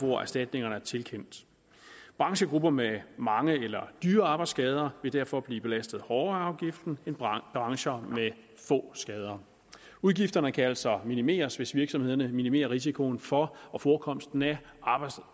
hvor erstatningerne er tilkendt branchegrupper med mange eller dyre arbejdsskader vil derfor blive belastet hårdere af afgiften end brancher brancher med få skader udgifterne kan altså minimeres hvis virksomhederne minimerer risikoen for og forekomsten af